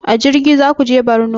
A jirgi zaku je borno?